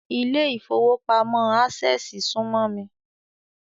Ilé ìfowópamọ́ Ásẹ̀sì súmọ́ mi